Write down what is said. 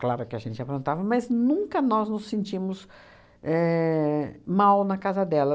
Claro que a gente aprontava, mas nunca nós nos sentimos éh mal na casa dela.